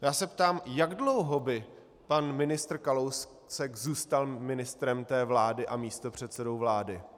Já se ptám, jak dlouho by pan ministr Kalousek zůstal ministrem té vlády a místopředsedou vlády?